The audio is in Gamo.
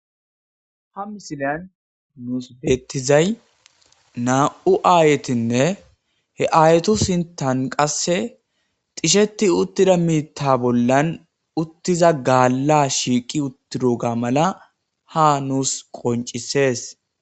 ha misilyan nuus beettizay naa7u aayetinne he ayetu sintan qasse xisheti uttida miita bollan uttiza gaalla shiiqi uttido ga mala ha nuus qoncisees